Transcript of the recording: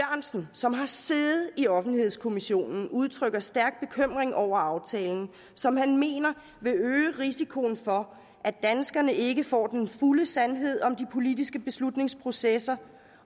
som har siddet i offentlighedskommissionen udtrykker stærk bekymring over aftalen som han mener vil øge risikoen for at danskerne ikke får den fulde sandhed om de politiske beslutningsprocesser